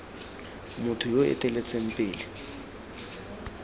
motho yo o eteletseng pele